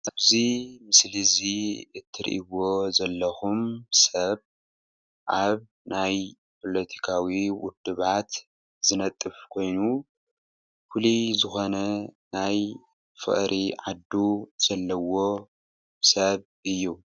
እዚ ምስሊ እዚ እትርእይዎ ዘለኹም ሰብ ኣብ ናይ ፖሎቲካዊ ዉድባት ዝነጥፍ ኮይኑ ፉልይ ዝኾነ ናይ ፍቅሪ ዓዱ ዘለዎ ሰብ እዩ።